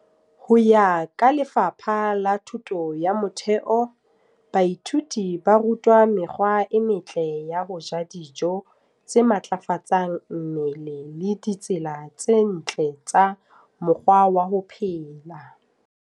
Ho ya ka Lefapha la Thuto ya Motheo, DBE, baithuti ba rutwa mekgwa e metle ya ho ja dijo tse matlafatsang mmele le ditsela tse ntle tsa mokgwa wa ho phela.